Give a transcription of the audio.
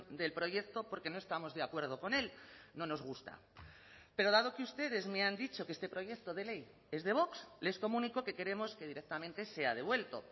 del proyecto porque no estamos de acuerdo con él no nos gusta pero dado que ustedes me han dicho que este proyecto de ley es de vox les comunico que queremos que directamente sea devuelto